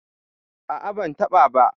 A'a ban taɓa ba.